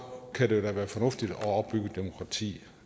kan det da være fornuftigt at opbygge et demokrati